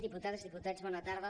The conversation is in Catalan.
diputades diputats bona tarda